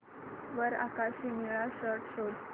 वर आकाशी निळा शर्ट शोध